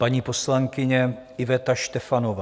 Paní poslankyně Iveta Štefanová.